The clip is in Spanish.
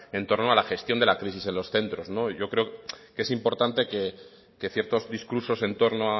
en torno a la gestión de la crisis en los centros yo creo que es importante que ciertos discursos en torno